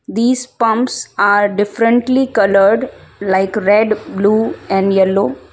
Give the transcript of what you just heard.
these pumps are differently coloured like red blue and yellow.